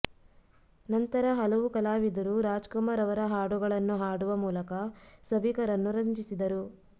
ನಂತರ ಹಲವು ಕಲಾವಿದರು ರಾಜ್ಕುಮಾರ್ ಅವರ ಹಾಡುಗಳನ್ನು ಹಾಡುವ ಮೂಲಕ ಸಭಿಕರನ್ನು ರಂಜಿಸಿದರು